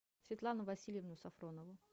светлану васильевну сафронову